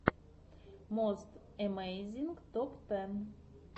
мост эмейзинг топ тэн